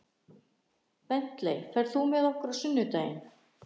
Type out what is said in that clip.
Bentley, ferð þú með okkur á sunnudaginn?